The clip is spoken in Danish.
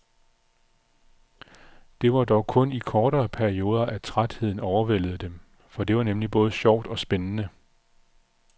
Det var dog kun i kortere perioder at trætheden overvældede dem, for det var nemlig både sjovt og spændende.